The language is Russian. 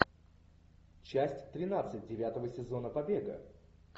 часть тринадцать девятого сезона побега